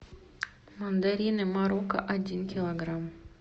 мандарины марокко один килограмм